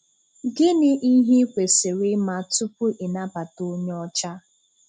Gịnị ihe ị kwesiri ima tupu ị nabata onye ọcha?